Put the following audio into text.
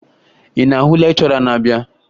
Ị na-ahụ lekchọra na-abịa?